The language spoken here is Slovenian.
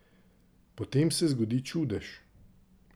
Potem se zgodi čudež!